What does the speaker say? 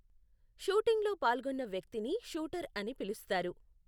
షూటింగ్లో పాల్గొన్న వ్యక్తిని షూటర్ అని పిలుస్తారు.